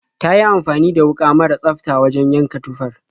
Ta yi amfani da wuƙa mara tsafta wajen yanka tufar.